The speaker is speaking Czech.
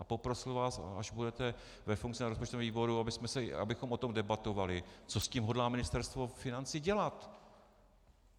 A poprosím vás, až budete ve funkci na rozpočtovém výboru, abychom o tom debatovali, co s tím hodlá Ministerstvo financí dělat.